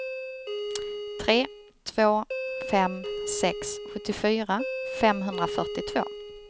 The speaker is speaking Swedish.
tre två fem sex sjuttiofyra femhundrafyrtiotvå